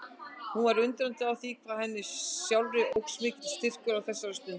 Hún var undrandi á því hvað henni sjálfri óx mikill styrkur á þessari stundu.